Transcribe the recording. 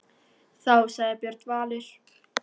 Þá sagði Björn Valur: